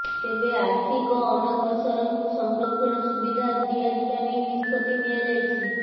ତେବେ ଆର୍ଥିକ ଅନଗ୍ରସରଙ୍କୁ ସଂରକ୍ଷଣ ସୁବିଧା ଦିଆଯିବା ନେଇ ନିଷ୍ପତ୍ତି ନିଆଯାଇଛି